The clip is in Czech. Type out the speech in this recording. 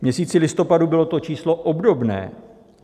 V měsíci listopadu bylo to číslo obdobné.